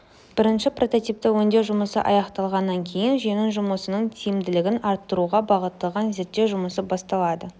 бірінші прототипті өңдеу жұмысы аяқталғаннан кейін жүйенің жұмысының тиімділігін арттыруға бағытталған зерттеу жұмысы басталады